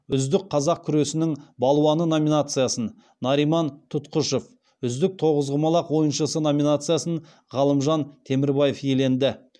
үздік қазақ күресінің балуаны номинациясын нариман тұтқышев үздік тоғызқұмалақ ойыншысы номинациясын ғалымжан темірбаев иеленді